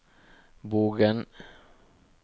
Bogen